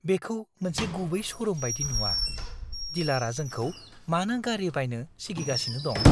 बेखौ मोनसे गुबै श'रुम बायदि नुआ। डिलारआ जोंखौ मानो गारि बायनो सिगिगासिनो दं?